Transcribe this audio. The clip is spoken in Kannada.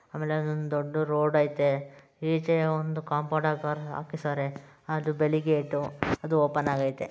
ಆಮೇಲೆ ಒಂದು ದೊಡ್ಡು ರೋಡ್ ಅಯ್ತೆ ಈಚೆ ಒಂದು ಕಾಂಪೌಂಡ್ ಹಾಕೋರೇ ಹಾಕಿಸವರೇ ಹಾಗೆ ಬೆಳಗ್ಗೆ ಎದ್ದು ಅದು ಓಪನ್ ಆಗೈತೆ.